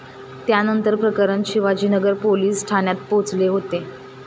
त्यानंतर प्रकरण शिवाजीनगर पोलीस ठाण्यात पोहचले होते.